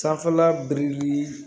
Sanfɛla biriki